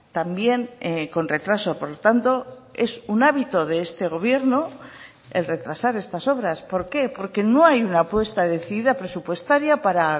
también con retraso por lo tanto es un hábito de este gobierno el retrasar estas obras por qué porque no hay una apuesta decidida presupuestaria para